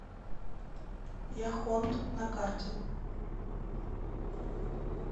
яхонт на карте